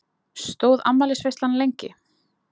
Stóð afmælisveislan lengi?